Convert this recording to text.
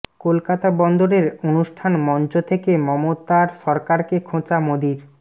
কলকাতা বন্দরের অনুষ্ঠান মঞ্চ থেকে মমতার সরকারকে খোঁচা মোদীর